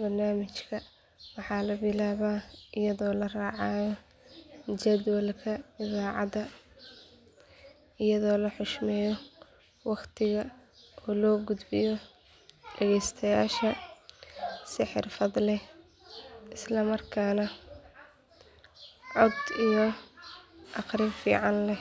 barnaamijka waxaa la bilaabaa iyadoo la raacayo jadwalka idaacadda iyadoo la xushmeeyo waqtiga oo loo gudbiyo dhageystayaasha si xirfad leh islamarkaana cod iyo akhrin fiican leh.